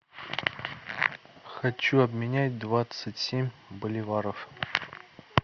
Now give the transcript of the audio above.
хочу обменять двадцать семь боливаров